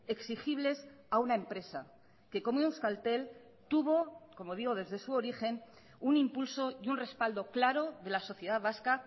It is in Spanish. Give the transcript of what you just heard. exigibles a una empresa que como euskaltel tuvo como digo desde su origen un impulso y un respaldo claro de la sociedad vasca